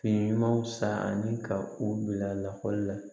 Fini ɲumanw san ani ka u bila lakɔli la